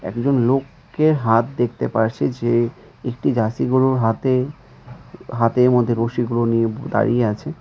একজন লোকের হাত দেখতে পারছি যে একটি জার্সি গরুর হাতে হাতের মধ্যে রশিগুলো নিয়ে দাঁড়িয়ে আছে।